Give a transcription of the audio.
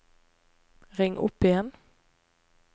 ring opp igjen